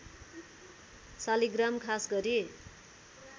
शालिग्राम खास गरी